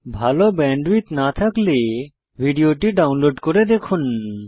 ভাল ব্যান্ডউইডথ না থাকলে ভিডিওটি ডাউনলোড করে দেখুন